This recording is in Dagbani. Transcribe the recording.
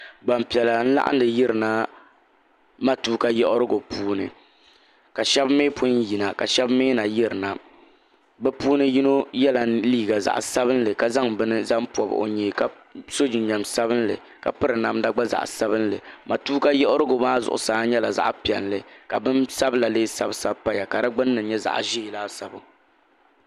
Gbaŋ piɛlla n laɣindi yiri na matuuka yiɣirigu puuni ka shɛba mi pun yina ka shɛba mi na yiri na bi puuni yino yela liiga zaɣi sabinli ka zaŋ bini zaŋ pɔbi o yee ka so jinjam sabinli ka piri namda gba zaɣi sabinli matuuka yiɣirigu maa zuɣusaa nyɛla zaɣi piɛlli ka bini sabila lee sabi sabi paya ka di gbunni nyɛ zaɣi ʒɛɛ laasabu.